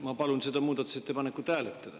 Ma palun seda muudatusettepanekut hääletada.